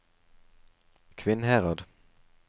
Kvinnherad